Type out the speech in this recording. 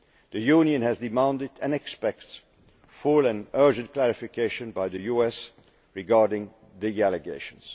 The European Union has demanded and expects full and urgent clarification by the US regarding the allegations.